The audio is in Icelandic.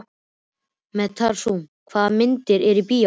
Methúsalem, hvaða myndir eru í bíó á miðvikudaginn?